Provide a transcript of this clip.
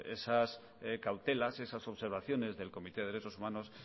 pues esas cautelas esas observaciones del comité de derechos humanos